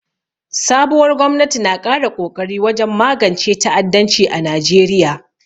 Sabuwar gwamnati na ƙara kokari wajen magance ta'addanci a Najeriya.